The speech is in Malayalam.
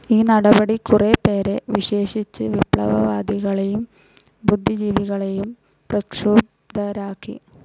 ഈ നടപടി കുറെ പേരെ, വിശേഷിച്ച് വിപ്ലവവാദികളേയും ബുദ്ധിജീവികളേയും പ്രക്ഷുബ്ധരാക്കി.